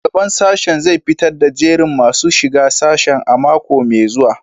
Shugaban sashen zai fitar da jerin masu shiga sashen a mako mai zuwa